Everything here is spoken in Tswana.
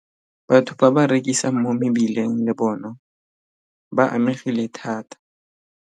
Batho ba ba rekisang mo mebileng le bona ba amegile thata.